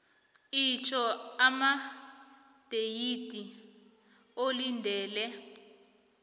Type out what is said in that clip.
itjho amadeyithi olindele